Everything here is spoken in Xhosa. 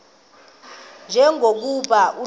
nje lokuba ulale